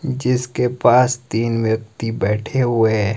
जिसके पास तीन व्यक्ति बैठे हुए है।